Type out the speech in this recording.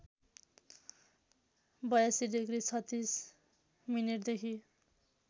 ८२ degree ३६ मिनेटदेखि